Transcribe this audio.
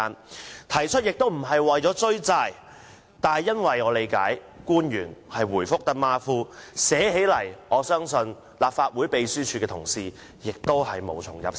我提出這事，並非為了"追債"，因為據我理解，官員答覆馬虎，相信立法會秘書處同事在撰寫會議紀要時也無從入手。